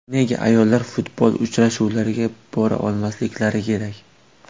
Nega ayollar futbol uchrashuvlariga bora olmasliklari kerak?